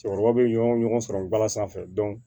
Cɛkɔrɔba bɛ ɲɔgɔn sɔrɔ bala sanfɛ